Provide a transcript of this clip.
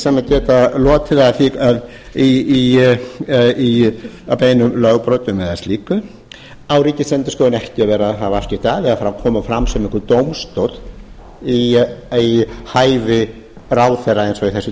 sem geta lotið að beinum lögbrotum eða slíku á ríkisendurskoðun ekki að vera að hafa afskipti af eða koma fram sem einhver dómstóll í hæfi ráðherra eins og í þessu